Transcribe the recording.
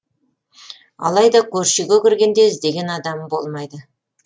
алайда көрші үйге кіргенде іздеген адамы болмайды